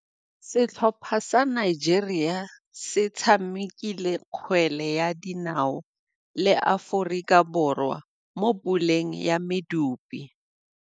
Setlhopha sa Nigeria se tshamekile kgwele ya dinaô le Aforika Borwa mo puleng ya medupe.